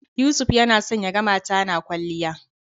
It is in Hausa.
Yusuf yana son ya ga mata na kwalliya.